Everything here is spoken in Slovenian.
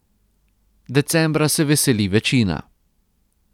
Decembra se veseli večina.